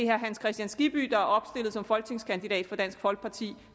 herre hans kristian skibby der er opstillet som folketingskandidat for dansk folkeparti